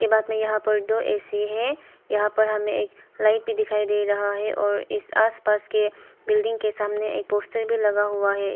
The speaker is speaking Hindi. बाद में यहां पर दो ए_सी है यहां पर हमे एक लाइट भी दिखाई दे रहा है और इस आस पास के बिल्डिंग सामने एक पोस्टर भी लगा हुआ है।